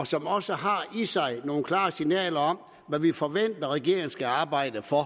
som også i sig giver nogle klare signaler om hvad vi forventer regeringen skal arbejde for